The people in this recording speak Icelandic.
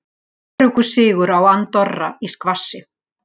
Öruggur sigur á Andorra í skvassi